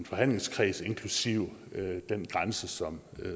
forhandlingskreds inklusive den grænse som